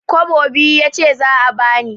Kwabo biyu yace za a bani.